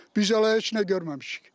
Biz hələ heç nə görməmişik.